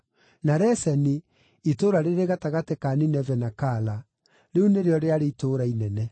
na Reseni, itũũra rĩrĩ gatagatĩ ka Nineve na Kala; rĩu nĩrĩo rĩarĩ itũũra inene.